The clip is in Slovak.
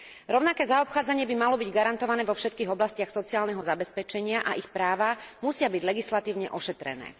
Rovnaké zaobchádzanie by malo byť garantované vo všetkých oblastiach sociálneho zabezpečenia a ich práva musia byť legislatívne ošetrené.